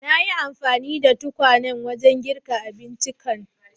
Nayi anfani da tukwanen wajen girka abinciccikan.